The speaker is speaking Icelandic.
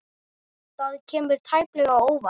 Það kemur tæplega á óvart.